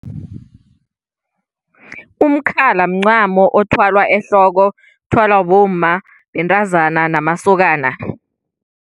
Umkhala mncamo othwalwa ehloko. Uthwalwa bomma, bentazana namasokana.